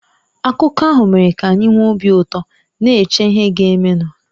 Akụkọ ahụ mere ka anyị nwee obi ụtọ, na-eche ihe ga-emenụ.